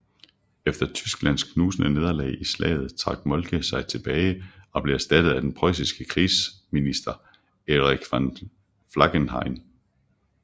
Efter Tysklands knusende nederlag i slaget trak Moltke sig tilbage og blev erstattet af den prøjsiske krigsminister Erich von Falkenhayn